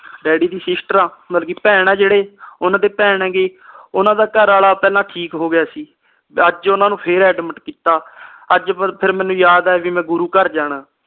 daddy ਦੀ ਸਿਸਟਰਆ ਮਤਲਬ ਕੇ ਭੈਣ ਆ ਜਿਹੜੇ ਓਹਨਾ ਦੇ ਭੈਣ ਹੈਗੇ ਆ ਜੀ ਓਹਨਾ ਦਾ ਘਰਵਾਲਾ ਪਹਿਲਾ ਠੀਕ ਹੋਗਿਆ ਸੀ ਤੇ ਅੱਜ ਓਹਨਾ ਨੂੰ ਫਿਰ admit ਕੀਤਾ ਅੱਜ ਫਿਰ ਮੇਨੂ ਯਾਦ ਆਇਆ ਵੀ ਮੈਂ ਗੁਰੂ ਘਰ ਜਾਣਾ